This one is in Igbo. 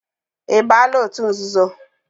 Ị baala òtù nzuzo?